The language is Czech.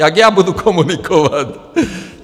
Jak já budu komunikovat?